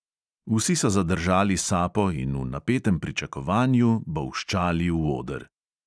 Vsi so zadržali sapo in v napetem pričakovanju bolščali v oder.